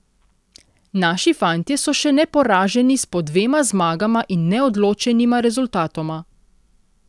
Naši fantje so še neporaženi s po dvema zmagama in neodločenima rezultatoma.